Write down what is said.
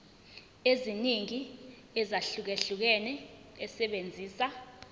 eziningi ezahlukahlukene esebenzisa